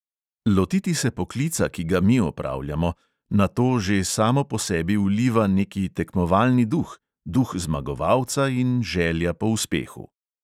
Lotiti se poklica, ki ga mi opravljamo, na to že samo po sebi vliva neki tekmovalni duh, duh zmagovalca in želja po uspehu.